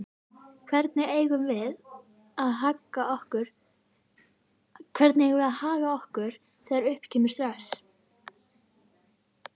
Hvernig eigum við að haga okkur þegar upp kemur stress?